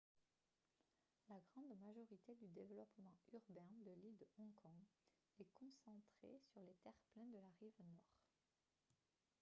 la grande majorité du développement urbain de l'île de hong kong est concentrée sur les terre-pleins de la rive nord